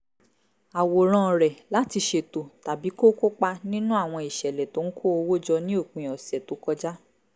àwòrán rẹ̀ láti ṣètò tàbí kó kópa nínú àwọn ìṣẹ̀lẹ̀ tó ń kó owó jọ ní òpin ọ̀sẹ̀ tó kọjá